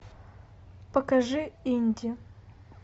покажи инди